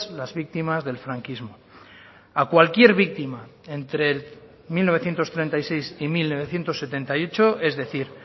las víctimas del franquismo a cualquier víctima entre mil novecientos treinta y seis y mil novecientos setenta y ocho es decir